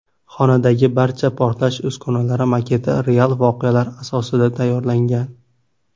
Xonadagi barcha portlash uskunalari maketi real voqealar asosida tayyorlangan.